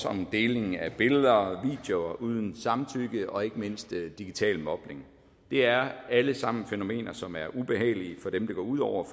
om deling af billeder og videoer uden samtykke og ikke mindst digital mobning det er alle sammen fænomener som er ubehagelige for dem det går ud over